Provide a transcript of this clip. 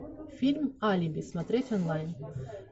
фильм алиби смотреть онлайн